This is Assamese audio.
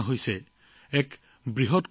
সকলোৱে এই বিষয়ে আলোচনা কৰি আছে